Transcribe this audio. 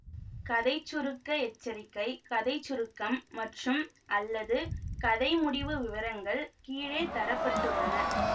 கதை சுருக்க எச்சரிக்கை கதை சுருக்கம் மற்றும்அல்லது கதை முடிவு விவரங்கள் கீழே தர பட்டுள்ளன